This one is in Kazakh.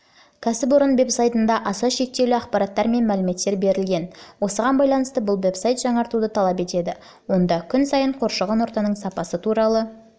кәсіпорын вэбсайтында аса шектеулі ақпараттар мен мәліметтер берілген осыған байланысты бұл вэбсайт жаңартуды талап етеді онда күн сайын қоршаған ортаның сапасы туралы